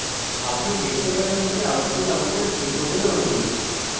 আপনি দেখতে পারেন যে output আমাদের c code অনুরূপ